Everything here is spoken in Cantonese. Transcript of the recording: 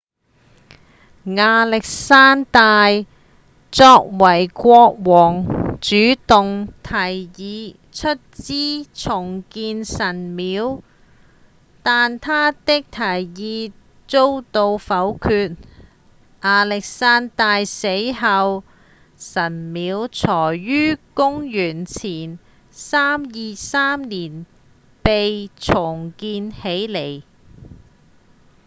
亞歷山大作為國王主動提議出資重建神廟但他的提議遭到否決亞歷山大死後神廟才於公元前323年被重建起來